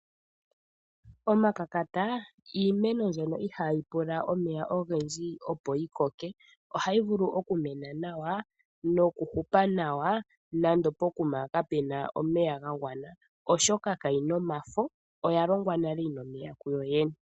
Omakakata iimeno mbyono ihaa yi pula omeya ogendji, opo yi koke. Oha yi vulu oku mena nawa, noku hupa nawa nando pokuma kape na omeya ga gwana, oshoka kayi na omafo, oya longwa nale yi na omeya kuyo yene.